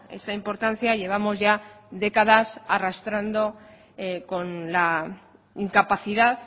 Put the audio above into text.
esta importancia llevamos ya décadas arrastrando con la incapacidad